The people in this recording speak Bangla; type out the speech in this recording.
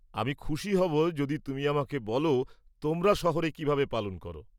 আমি খুশি হব যদি তুমি আমাকে বলো তোমরা শহরে কীভাবে পালন করো।